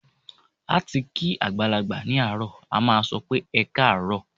Láti kí àgbàlagbà ní àárọ̀, a máà sọ pé "ẹkáàárọ̀".